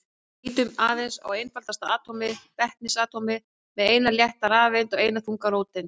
Lítum aðeins á einfaldasta atómið, vetnisatómið með eina létta rafeind og eina þunga róteind.